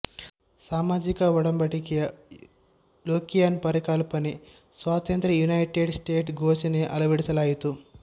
ಸಾಮಾಜಿಕ ಒಡಂಬಡಿಕೆಯ ಲೊಕಿಯನ್ ಪರಿಕಲ್ಪನೆ ಸ್ವಾತಂತ್ರ್ಯ ಯುನೈಟೆಡ್ ಸ್ಟೇಟ್ಸ್ ಘೋಷಣೆಯ ಅಳವಡಿಸಲಾಯಿತು